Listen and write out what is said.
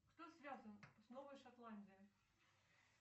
кто связан с новой шотландией